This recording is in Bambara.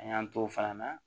An y'an t'o fana na